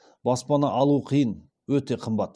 баспана алу қиын өте қымбат